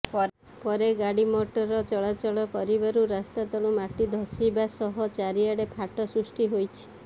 ପରେ ଗାଡି ମୋଟର ଚଳାଚଳ କରିବାରୁ ରାସ୍ତା ତଳୁ ମାଟି ଧଶିବା ସହ ଚାରିଆଡେ ଫାଟ ସୃଷ୍ଟି ହୋଇଛି